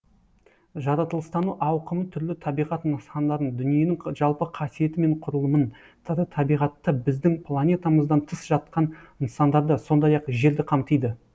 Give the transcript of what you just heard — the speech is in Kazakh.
жаратылыстану ауқымы түрлі табиғат нысандарын дүниенің жалпы қасиеті мен құрылымын тірі табиғатты біздің планетамыздан тыс жатқан нысандарды сондай ақ жерді қамтиды